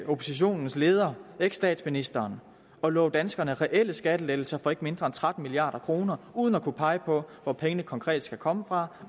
oppositionens leder eksstatsministeren at love danskerne reelle skattelettelser for ikke mindre end tretten milliard kroner uden at kunne pege på hvor pengene konkret skal komme fra